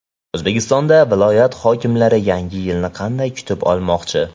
O‘zbekistonda viloyat hokimlari Yangi yilni qanday kutib olmoqchi?.